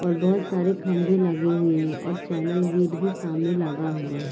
और बहुत सारे खम्बे लगे हुए है और चैनल गेट भी सामने लगा हुआ है।